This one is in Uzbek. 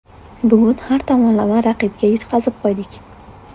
Bugun har tomonlama raqibga yutqazib qo‘ydik.